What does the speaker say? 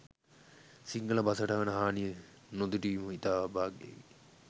සිංහල බසට වන හානිය නොදුටීම ඉතා අභාග්‍යකි